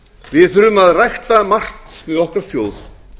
við þurfum að rækta margt með okkar þjóð